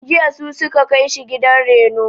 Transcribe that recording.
Jiya su ka kai shi gidan reno..